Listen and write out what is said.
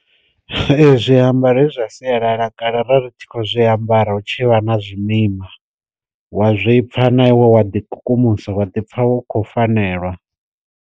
Ee zwi ambaro he zwa sialala kale ra ri tshi khou zwi ambara hu tshi vha na zwimima, wa zwipfa na iwe wa ḓi kukumusa wa ḓi pfa wo kho fanelwa.